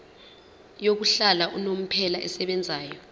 yokuhlala unomphela esebenzayo